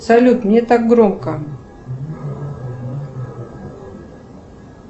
салют мне так громко